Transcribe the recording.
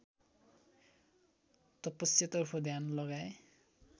तपस्यातर्फ ध्यान लगाए